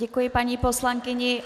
Děkuji paní poslankyni.